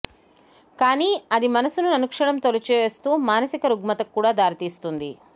కానీ అది మనసును అనుక్షణం తొలిచివేస్తూ మానసిక రుగ్మతకు కూడా దారి తీస్తుంది